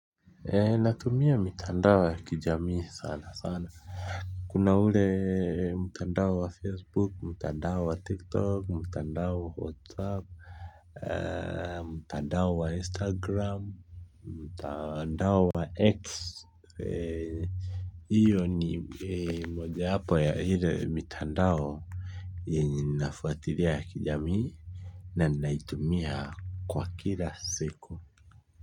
Ee natumia mitandao ya kijamii sana sana kuna ule mtandao wa facebook mtandao wa tiktok mtandao wa whatsapp aa mtandao wa instagram mtandao wa x iyo ni moja wapo ya ile mitandao yenye nafuatilia ya kijamii na naitumia kwa kila siku.